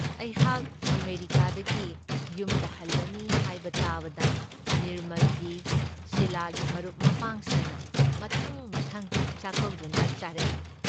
ꯑꯩꯍꯥꯥꯛ ꯑꯃꯦꯔꯤꯀꯥꯗꯒꯤ ꯌꯨꯝꯗ ꯍꯜꯂꯅꯤ ꯍꯥꯏꯕ ꯇꯥꯕꯗ ꯅꯤꯔꯃꯜꯒꯤ, ꯁꯤꯂꯥꯒꯤ ꯃꯔꯨꯞ ꯃꯄꯥꯡꯁꯤꯡꯅ ꯃꯊꯪ ꯃꯊꯪ ꯆꯥꯛꯀꯧꯗꯨꯅ ꯆꯥꯔꯛꯏ ꯫